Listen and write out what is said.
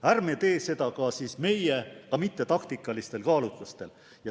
Ärme teeme seda, ka mitte taktikalistel kaalutlustel.